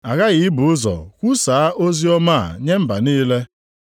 Aghaghị ibu ụzọ kwusaa oziọma a nye mba niile.